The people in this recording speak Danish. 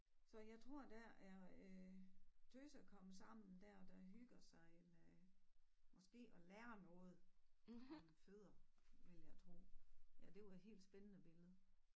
Så jeg tror der er øh tøsekomsammen dér der hygger sig med måske at lære noget om fødder ville jeg tror ja det var helt spændende billede